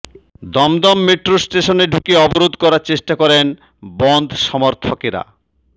Dumdum metro স্টেশনে ঢুকে অবরোধ করার চেষ্টা করেন বনধ সমর্থকরা